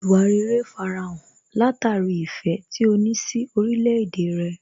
Ìwà rere farahàn látara ìfẹ́ tí ó ní sí orílẹ̀ èdè rẹ̀